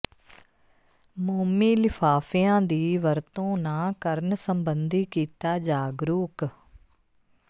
ਮੋਮੀ ਲਿਫ਼ਾਿਫ਼ਆਂ ਦੀ ਵਰਤੋਂ ਨਾ ਕਰਨ ਸਬੰਧੀ ਕੀਤਾ ਜਾਗਰੂਕ